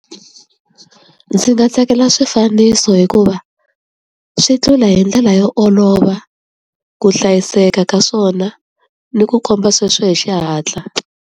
Ndzi nga tsakela swifaniso hikuva swi tlula hi ndlela yo olova ku hlayiseka ka swona, ni ku komba hi xihatla.